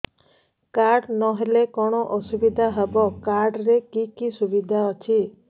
card ନହେଲେ କଣ ଅସୁବିଧା ହେବ କାର୍ଡ ରେ କି କି ସୁବିଧା ଅଛି